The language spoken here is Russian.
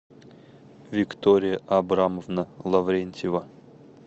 виктория абрамовна лаврентьева